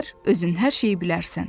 özün hər şeyi bilərsən.